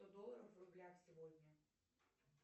сто долларов в рублях сегодня